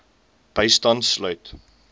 bystand sluit